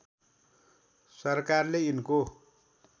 सरकारले यिनको